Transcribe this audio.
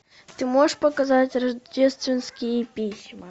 ты можешь показать рождественские письма